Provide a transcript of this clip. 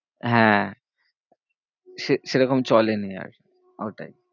হ্যাঁ সেরকম চলেনি আর ওটাই।